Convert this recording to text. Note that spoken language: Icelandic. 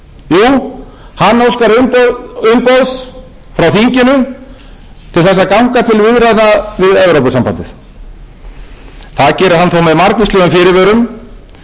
samningi sem hann sjálfur ætlar að leiða til lykta hvað er átt við hér eiginlega hvers konar samningur er